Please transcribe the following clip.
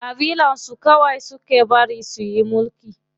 Ƙabilar su kawai suke bari suyi mulki.